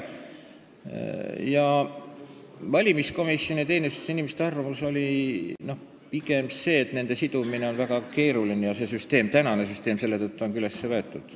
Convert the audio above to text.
Valimiskomisjoni ja -teenistuse inimeste arvamus oli pigem see, et nende inimeste n-ö sidumine on väga keeruline ja praegu toimiv süsteem ongi selle tõttu nii üles ehitatud.